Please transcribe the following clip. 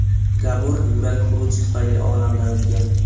Gabor yurak xuruji tufayli olamdan o‘tgan.